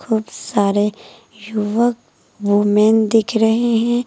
बहुत सारे युवक वुमन दिख रहे हैं।